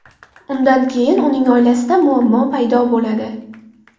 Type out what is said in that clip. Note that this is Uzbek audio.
Undan keyin uning oilasida muammo paydo bo‘ladi.